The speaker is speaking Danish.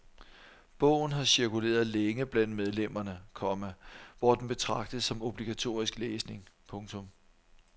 Bogen har cirkuleret længe blandt medlemmerne, komma hvor den betragtes som obligatorisk læsning. punktum